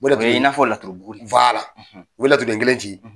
O de kun ye Iaturu bugui u bƐ laturuden kelen ci,